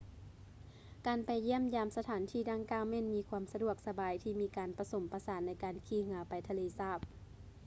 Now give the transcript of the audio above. ການໄປຢ້ຽມຢາມສະຖານດັ່ງກ່າວແມ່ນມີຄວາມສະດວກສະບາຍ ທີ່ມີການປະສົມປະສານໃນການຂີ່ເຮືອໄປທະເລສາບ